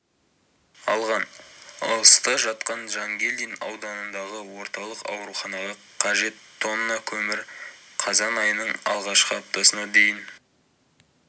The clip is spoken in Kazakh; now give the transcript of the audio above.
алған алыста жатқан жангелдин ауданындағы орталық ауруханаға қажет тонна көмір қазан айының алғашқы аптасына дейін